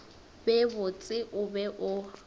be botse o be o